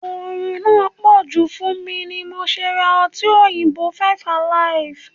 Orun náà poju fún mi ni mo ṣe ra ọtí òyìnbó (five alive).